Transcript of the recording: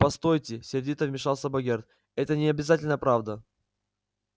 постойте сердито вмешался богерт это не обязательно правда